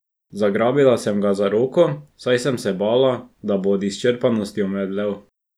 Zagrabila sem ga za roko, saj sem se bala, da bo od izčrpanosti omedlel.